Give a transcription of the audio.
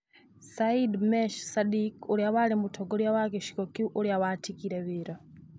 Saidi Mech Sadiki ũrĩa warĩ mũtongoria wa gĩcigo kĩu ũrĩa watigire wĩra.